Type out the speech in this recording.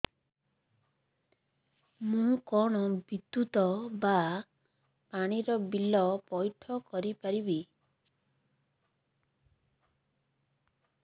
ମୁ କଣ ବିଦ୍ୟୁତ ବା ପାଣି ର ବିଲ ପଇଠ କରି ପାରିବି